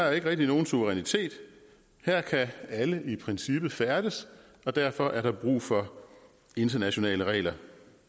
er ikke rigtig nogen suverænitet her kan alle i princippet færdes og derfor er der brug for internationale regler